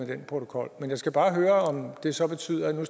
den protokol men jeg skal bare høre om det så betyder